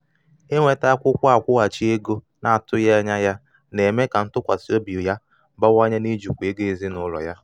inweta akwụkwọ akwụghachi ego na-atụghị na-atụghị anya ya na-eme ka ntụkwasị obi ya bawanye n’ijikwa ego ezinụlọ ya